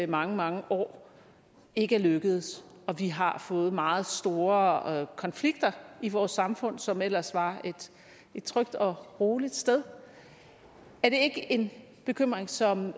mange mange år ikke er lykkedes og vi har fået meget store konflikter i vores samfund som ellers var et trygt og roligt sted er det ikke en bekymring som